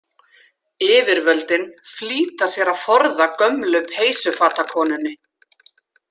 Yfirvöldin flýta sér að forða gömlu peysufatakonunni.